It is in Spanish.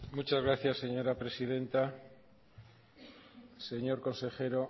muchas gracias señora presidenta señor consejero